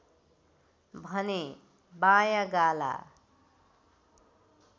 भने बायाँ गाला